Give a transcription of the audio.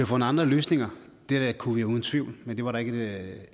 fundet andre løsninger det kunne vi uden tvivl men det var der ikke